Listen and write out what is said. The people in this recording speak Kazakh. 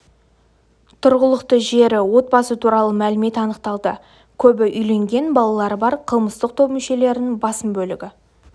тұрғылықты жері отбасы туралы мәлімет анықталды көбі үйленген балалары бар қылмыстық топ мүшелерінің басым бөлігі